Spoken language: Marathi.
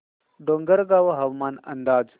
डोंगरगाव हवामान अंदाज